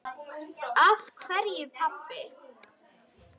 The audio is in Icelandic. Af hverju, pabbi?